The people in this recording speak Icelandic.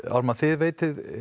Ármann þið veitið